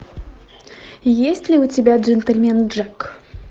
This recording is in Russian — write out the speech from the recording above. есть ли у тебя джентльмен джек